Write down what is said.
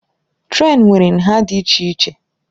Trén nwere nha dị iche iche.